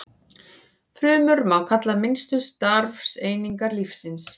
Frumur má kalla minnstu starfseiningar lífsins.